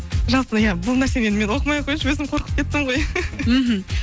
жалпы иә бұл нәрсені мен оқымай ақ қояйыншы өзім қорқып кеттім ғой мхм